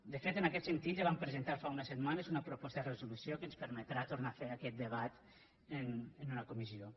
de fet en aquest sentit ja vam presentar fa unes setmanes una proposta de resolució que ens permetrà tornar a fer aquest debat en una comissió